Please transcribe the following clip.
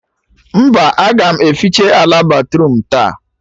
Mba, a ga m eficha ala batruum taa